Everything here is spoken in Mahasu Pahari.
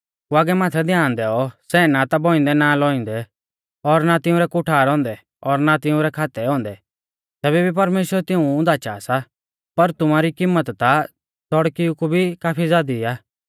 कौअगै माथै ध्यान दैऔ सै ना बौइंदै ना लौइंदै और ना तिंउरै कुठार औन्दै और ना तिंउरै खातै औन्दै तैबै भी परमेश्‍वर तिऊं धाचा सा पर तुमारी किम्मत ता च़ौड़किउ कु भी काफी ज़ादी आ